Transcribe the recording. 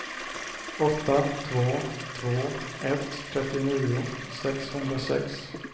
åtta två två ett trettionio sexhundrasex